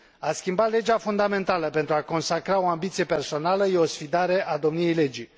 A schimba legea fundamentală pentru a consacra o ambiție personală este o sfidare a domniei legii.